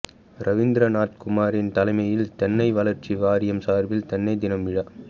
ரவீந்திரநாத்குமார் தலைமையில் தென்னை வளர்ச்சி வாரியம் சார்பில் தென்னை தின விழா